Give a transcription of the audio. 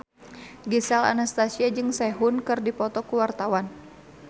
Gisel Anastasia jeung Sehun keur dipoto ku wartawan